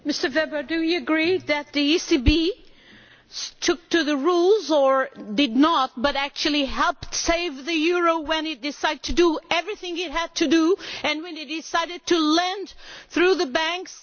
Mr Weber, do you agree that the ECB stuck to the rules or did not, but actually helped save the euro when it decided to do everything it had to do and when it decided to lend through the banks?